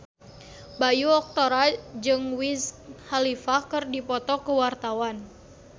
Bayu Octara jeung Wiz Khalifa keur dipoto ku wartawan